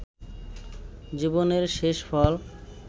জীবনের শেষফল